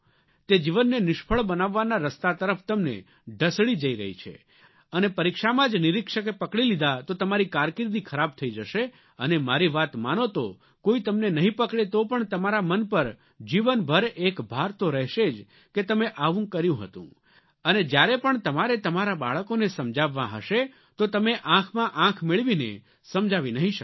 તે જીવનને નિષ્ફળ બનાવવાના રસ્તા તરફ તમને ઢસડી જઇ રહી છે અને પરીક્ષામાં જ નિરીક્ષકે પકડી લીધા તો તમારી કારકિર્દી ખરાબ થઇ જશે અને મારી વાત માનો તો કોઇ તમને નહીં પકડે તો પણ તમારા મન પર જીવનભર એક ભાર તો રહેશે જ કે તમે આવું કર્યું હતું અને જ્યારે પણ તમારે તમારાં બાળકોને સમજાવવાં હશે તો તમે આંખમાં આંખ મેળવીને સમજાવી નહીં શકો